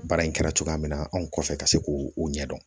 Baara in kɛra cogoya min na anw kɔfɛ ka se k'o ɲɛdɔn